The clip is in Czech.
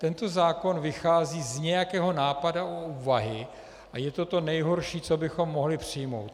Tento zákon vychází z nějakého nápadu a úvahy a je to to nejhorší, co bychom mohli přijmout.